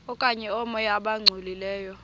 okanye oomoya abangcolileyo